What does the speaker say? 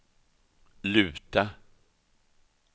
luta